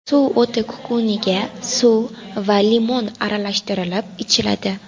Suv o‘ti kukuniga suv va limon aralashtirilib ichiladi.